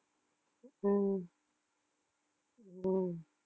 உம் உம்